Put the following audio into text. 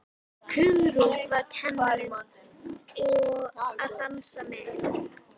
Hugrún: Og var kennarinn að dansa með ykkur?